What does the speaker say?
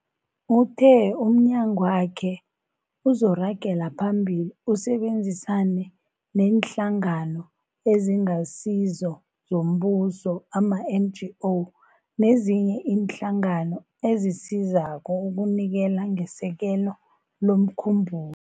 Uthe umnyagwakhe uzoragela phambili usebenzisane neeNhlangano eziNgasizo zoMbuso, ama-NGO, nezinye iinhlangano ezisizako ukunikela ngesekelo lomkhumbulo.